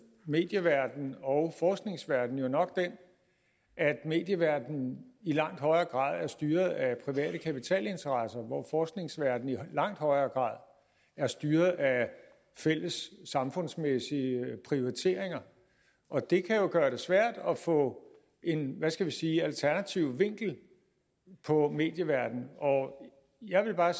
medieverdenen og forskningsverdenen jo nok den at medieverdenen i langt højere grad er styret af private kapitalinteresser hvor forskningsverdenen i langt højere grad er styret af fælles samfundsmæssige prioriteringer og det kan jo gøre det svært at få en hvad skal man sige alternativ vinkel på medieverdenen jeg vil bare